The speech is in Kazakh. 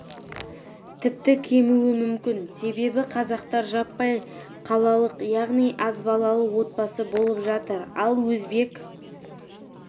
тіпті кемуі мүмкін себебі қазақтар жаппай қалалық яғни аз балалы отбасы болып жатыр ал өзбек